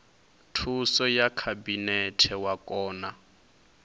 thuso ya khabinete wa kona